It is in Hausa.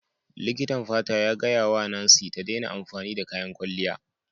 Likitan fata ya gaya wa Nancy ta daina amfani da kayan kwalliya.